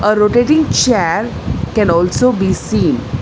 A rotating chair can also be seen.